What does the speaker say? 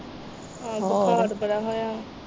ਹਾਂ ਬੁਖਾਰ ਬੜਾ ਹੋਇਆ।